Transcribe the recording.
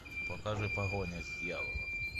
покажи погоня с дьяволом